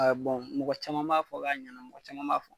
Ɛɛ mɔgɔ caman b'a fɔ k'a ɲɛna, mɔgɔ caman b' fɔ